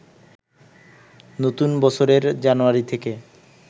নতুন বছরের জানুয়ারি থেকে